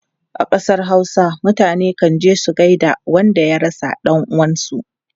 A kasar Hausa, mutane kan je su gaida wanda ya rasa dan uwansu.